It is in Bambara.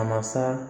A masa